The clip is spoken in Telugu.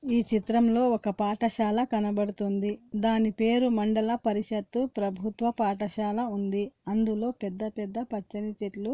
ఈ చిత్రంలో ఒక్క పాఠశాల కనబడుతుంది. దాని పేరు మండల పరిషత్తు ప్రభుత్వ పాఠశాల ఉంది. అందులో పెద్ద పెద్ద పచ్చని చెట్లు--